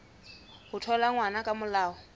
ho thola ngwana ka molao